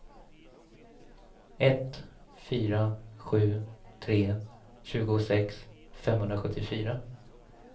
ett fyra sju tre tjugosex femhundrasjuttiofyra